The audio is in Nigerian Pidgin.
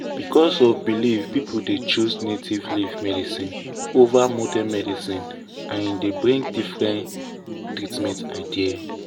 because of belief people dey choose native leaf medicine over modern medicine and e bring different treatment idea.